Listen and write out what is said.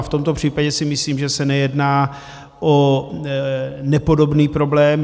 A v tomto případě si myslím, že se nejedná o nepodobný problém.